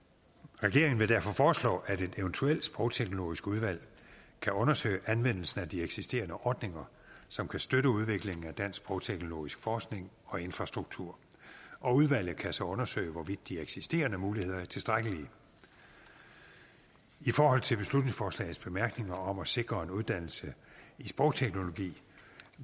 regeringen vil derfor foreslå at et eventuelt sprogteknologisk udvalg kan undersøge anvendelsen af de eksisterende ordninger som kan støtte udviklingen af dansk sprogteknologisk forskning og infrastruktur og udvalget kan så undersøge hvorvidt de eksisterende muligheder er tilstrækkelige i forhold til beslutningsforslagets bemærkninger om at sikre en uddannelse i sprogteknologi